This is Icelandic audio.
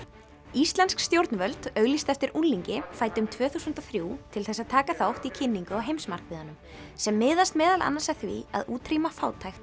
íslensk stjórnvöld auglýstu eftir unglingi fæddum tvö þúsund og þrjú til þess að taka þátt í kynningu á heimsmarkmiðunum sem miðast meðal annars að því að útrýma fátækt